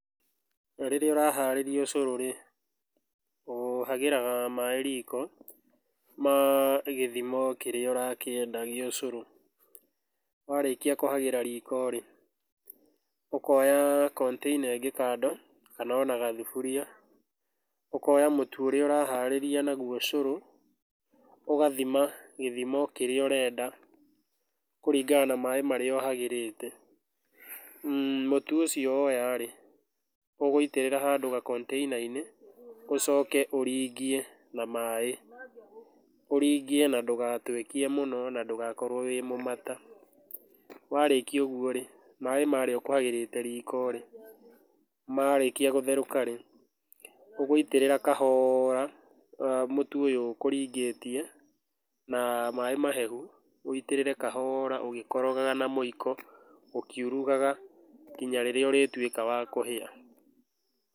Rĩrĩa ũraharĩria ũcũrũ rĩ ũhagĩraga maĩ riko ma gĩthimo kĩrĩa ũrakĩenda gĩa ũcũrũ. Warĩkia kũhagĩra riko rĩ, ũkoya container ĩngĩ kado kana ona gathuburia, ũkoya mũtu ũrĩa ũraharĩria naguo ũcũrũ, ũgathima gĩthimo kĩrĩa ũrenda kũringana na maĩ marĩa ũhagĩrĩte. Mũtu ũcio woya rĩ ũgũitĩrĩra handũ ga container inĩ, ũcoke ũringie na maĩ, ũringie na ndũgatuekie mũno na ndũgakorwo wĩĩ mũmata. Warĩkia ũguo rĩ maĩ marĩa ũkũhagĩrĩte riko rĩ, marĩkia gũtheruka rĩ, ũgũitĩrĩra kahora mũtu ũyũ ũkũringĩtie na maĩ mahehu, ũitĩrĩrie kahora ũgĩkorogaga na mũiko ũkĩurugaga nginya rĩrĩa ũrĩtuĩka wa kũhĩa.